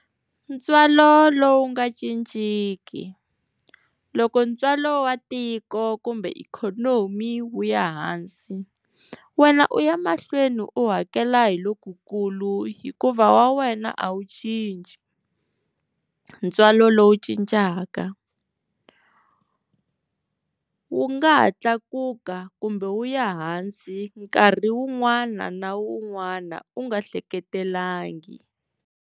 Ntswalo lowu nga cinciki loko ntswalo wa tiko kumbe ikhonomi wu ya hansi wena u ya mahlweni u hakela hi lo ku kulu hikuva wa wena a wu cinci ntswalo lowu cincaka, wu nga ha tlakuka kumbe wu ya hansi nkarhi wun'wana na wun'wana u nga hleketelangi.